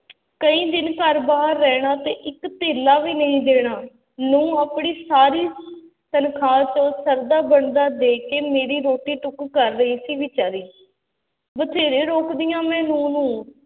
ਕਈ ਦਿਨ ਘਰ ਬਾਹਰ ਰਹਿਣਾ ਤੇ ਇੱਕ ਧੇਲਾ ਵੀ ਨਹੀਂ ਦੇਣਾ, ਨਹੁੰ ਆਪਣੀ ਸਾਰੀ ਤਨਖਾਹ ਚੋਂ ਸਰਦਾ ਬਣਦਾ ਦੇ ਕੇ ਮੇਰੀ ਰੋਟੀ ਟੁੱਕ ਕਰ ਰਹੀ ਸੀ ਬੇਚਾਰੀ, ਬਥੇਰੇ ਰੋਕਦੀ ਹਾਂ ਮੈਂ ਨਹੁੰ ਨੂੰ,